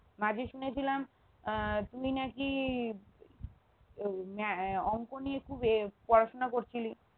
মাঝে শুনেছিলাম আহ তুই নাকি আহ অংক নিয়ে খুব ইয়ে পড়াশোনা করছিলি